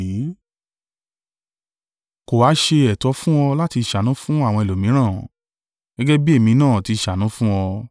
Kò ha ṣe ẹ̀tọ́ fún ọ láti ṣàánú fún àwọn ẹlòmíràn, gẹ́gẹ́ bí èmi náà ti ṣàánú fún ọ?’